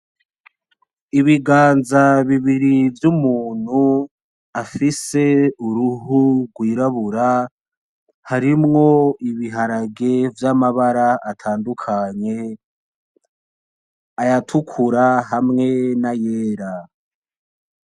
Ibiganza bibiri vy'umuntu afise Uruhu rw'irabura, harimwo ibiharage vyamara atandukanye, ayatukura hamwe na yera.